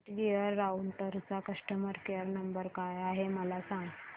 Netgear राउटरचा customer care number काय आहे मला सांग